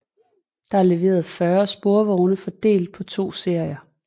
Der er leveret 40 sporvogne fordelt på to serier